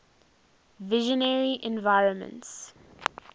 visionary environments